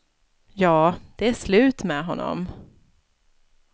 Ja, det är slut med honom.